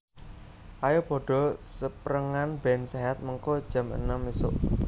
Ayo podo seprengan ben sehat mengko jam enem isuk